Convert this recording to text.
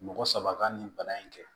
Mɔgɔ saba ka nin bana in kɛ